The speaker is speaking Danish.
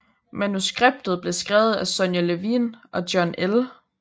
Manuskriptet blev skrevet af Sonya Levien og John L